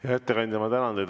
Hea ettekandja, ma tänan teid!